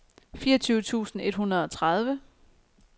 fireogtyve tusind et hundrede og tredive